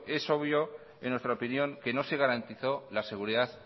es obvio en nuestra opinión que no se garantizó la seguridad